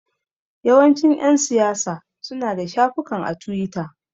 Yawancin ƴan siyasa suna da shafukan a tiwita.